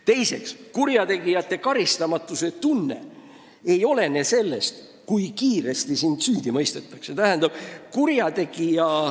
Teiseks, kurjategijate karistamatuse tunne ei olene sellest, kui kiiresti keegi süüdi mõistetakse.